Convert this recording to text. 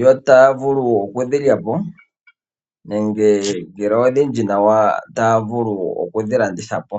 yo taya vulu okudhi lya po, ngele odhindji nawa ta ya vulu okudhi landitha po.